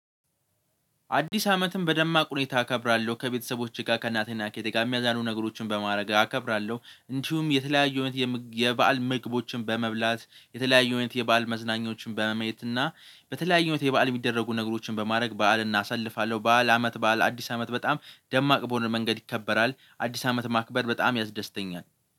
አዲስ አመትን በደማቅ ሁኔታ አከብራለሁ ከቤተሰቦቼ ጋር ከእናቴና ከእህቴ ጋር የሚያዝናኑ ነገሮችን በማድረግ አከብራለሁ። እንዲሁም የተለያዩ አይነት የበአል ምግቦችን በመብላት የተለያዩ አይነት የበአል መዝናኞችን በመመየት እና በተለያዩ አይነት በበዓል የምደረጉ ነገሮችን በማድረግ በዓልን አሰልፋለሁ። በዓል አመት በዓል አዲስ አመት በጣም ደማቅ በሆነ መንገድ ይከበራል። አዲስ አመት ማክበር በጣም ያስደስተኛል።